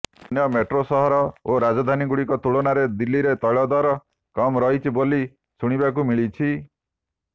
ଅନ୍ୟ ମେଟ୍ରୋ ସହର ଓ ରାଜଧାନୀଗୁଡ଼ିକ ତୁଳନାରେ ଦିଲ୍ଲୀରେ ତୈଳ ଦର କମ୍ ରହିଛି ବୋଲି ଶୁଣିବାକୁ ମିଳିଛି